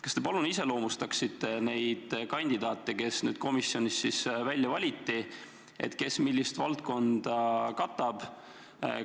Kas te palun iseloomustaksite neid kandidaate, kes komisjonis välja valiti, kes millist valdkonda katab?